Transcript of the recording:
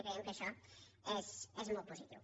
i creiem que això és molt positiu